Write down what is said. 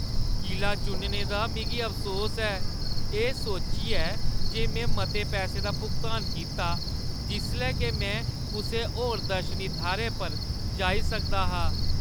किला चुनने दा मिगी अफसोस ऐ, एह् सोचियै जे में मते पैसै दा भुगतान कीता, जिसलै के में कुसै होर दर्शनी थाह्‌रै पर जाई सकदा हा ।